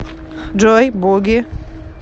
джой буги